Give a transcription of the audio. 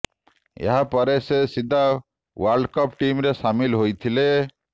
ଏହା ପରେ ସେ ସିଧା ୱାର୍ଲ୍ଡ କପ୍ ଟିମରେ ସାମିଲ୍ ହୋଇଥିଲେ